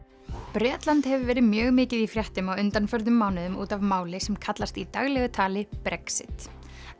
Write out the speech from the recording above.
Bretland hefur verið mjög mikið í fréttum á undanförnum mánuðum út af máli sem kallast í daglegu tali Brexit